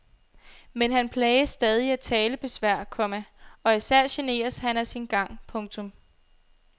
Men han plages stadig af talebesvær, komma og især generes han af sin gang. punktum